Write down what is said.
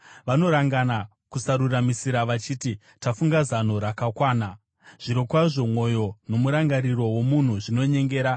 Vanorangana kusaruramisira vachiti, “Tafunga zano rakakwana!” Zvirokwazvo mwoyo nomurangariro womunhu zvinonyengera.